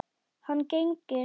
Hann gegnir.